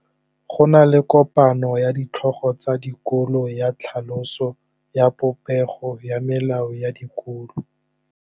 Go na le kopanô ya ditlhogo tsa dikolo ya tlhaloso ya popêgô ya melao ya dikolo.